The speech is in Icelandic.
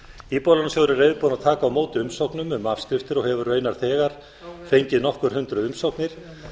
íbúðalánasjóður er reiðubúinn að taka á móti umsóknum um afskriftir og hefur raunar þegar fengið nokkur hundruð umsóknir